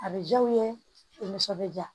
A bɛ diya u ye u nisɔn bɛ ja